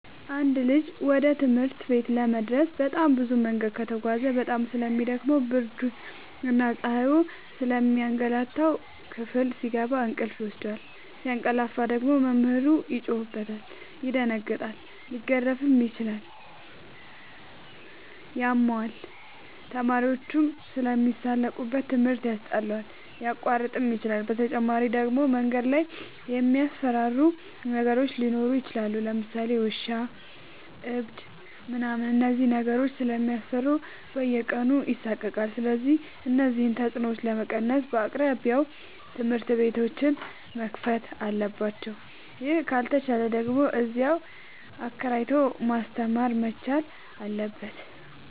አንድ ልጅ ወደ ትምህርት ቤት ለመድረስ በጣም ብዙ መንገድ ከተጓዘ በጣም ስለሚ ደክመው ብርድና ፀሀዩ ስለሚያገላታው። ክፍል ሲገባ እንቅልፍ ይወስደዋል። ሲያቀላፍ ደግሞ መምህሩ ይጮህበታል ይደነግጣል ሊገረፍም ይችላል ያመዋል፣ ተማሪዎችም ስለሚሳለቁበት ትምህርት ያስጠላዋል፣ ሊያቋርጥም ይችላል። በተጨማሪ ደግሞ መንገድ ላይ የሚያስፈራሩ ነገሮች ሊኖሩ ይችላሉ ለምሳሌ ውሻ እብድ ምናምን እነዚህን ነገሮች ስለሚፈራ በየቀኑ ይሳቀቃል። ስለዚህ እነዚህን ተፅኖዎች ለመቀነስ በየአቅራቢያው ትምህርት ቤቶዎች መከፈት አለባቸው ይህ ካልተቻለ ደግሞ እዚያው አከራይቶ ማስተማር መቻል አለበት።